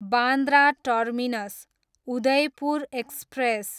Bandra terminus, Udaipur express